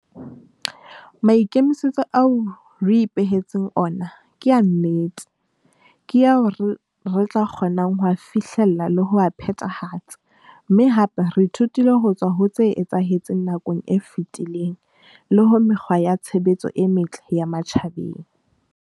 Maikemisetso ao re ipehe tseng ona ke a nnete, ke ao re tla kgonang ho a fihlella le ho a phethahatsa, mme hape re ithutile ho tswa ho tse etsahetseng nakong e fetileng le ho mekgwa ya tshebetso e metle ya matjhabeng.